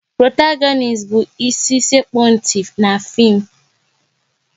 Protagonist bụ ịsi sekpu ntị n'fim